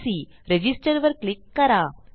register वर click करा